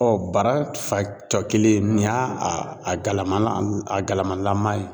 Ɔ bara fan cɔkelen nin y'a a galama a galamalama ye.